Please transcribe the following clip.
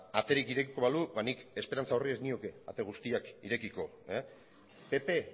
aterik irekiko balu nik esperantza horri ez nioke ate guztiak irekiko pp